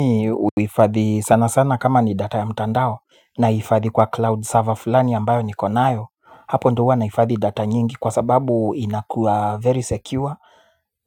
Mimi huifadhi sana sana kama ni data ya mtandao nahifadhi kwa cloud server fulani ambayo niko nayo. Hapo ndo huwa nahifadhi data nyingi kwa sababu inakuwa very secure.